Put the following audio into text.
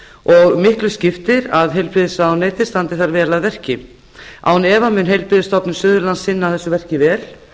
og miklu skiptir að heilbrigðisráðuneytið standi þar vel að verki án efa mun heilbrigðisstofnun suðurlands sinna þessu verki vel